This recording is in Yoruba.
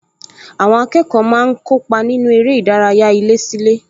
Àwọn akẹ́kọ̀ọ́ máa ń kópa nínú eré ìdárayá ilésílé